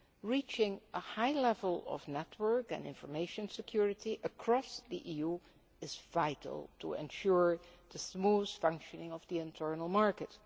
Reaching a high level of network and information security across the EU is vital to ensure the smooth functioning of the internal market.